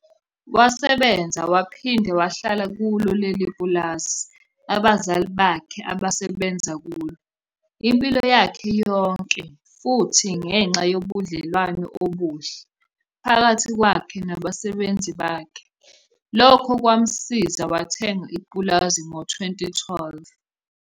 Wasebenza waphinda wahlala kulo leli pulazi abazali bakhe abasebenza kulo impilo yakhe yonke futhi ngenxa yobudlelwano obuhle phakathi kwakhe nabasebenzi bakhe, lokho kwamsiza wathenga ipulazi ngo-2012.